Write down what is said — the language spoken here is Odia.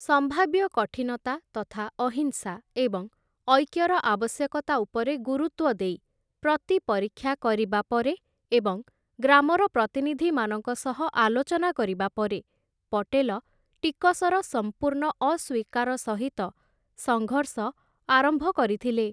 ସମ୍ଭାବ୍ୟ କଠିନତା ତଥା ଅହିଂସା ଏବଂ ଐକ୍ୟର ଆବଶ୍ୟକତା ଉପରେ ଗୁରୁତ୍ୱ ଦେଇ, ପ୍ରତିପରୀକ୍ଷା କରିବା ପରେ ଏବଂ ଗ୍ରାମର ପ୍ରତିନିଧିମାନଙ୍କ ସହ ଆଲୋଚନା କରିବା ପରେ, ପଟେଲ ଟିକସର ସମ୍ପୂର୍ଣ୍ଣ ଅସ୍ୱୀକାର ସହିତ ସଙ୍ଘର୍ଷ ଆରମ୍ଭ କରିଥିଲେ ।